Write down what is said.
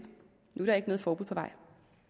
nu er der ikke noget forbud på vej